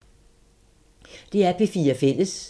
DR P4 Fælles